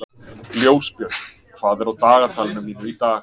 Ljósbjörg, hvað er á dagatalinu mínu í dag?